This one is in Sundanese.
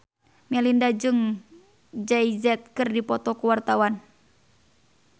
Melinda jeung Jay Z keur dipoto ku wartawan